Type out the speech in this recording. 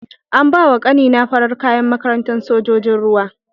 An bawa ƙani na farar kaya a makarantar sojojin ruwa.